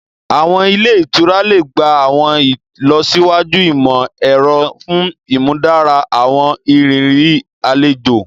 Àwọn ilẹ́ ìtura le gba àwọn ìlọsíwájú imọ-ẹrọ fun ìmúdára àwọn ìrírí àlejò